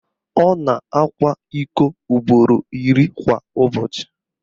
Ọ na-akwa iko ugboro iri kwa ụbọchị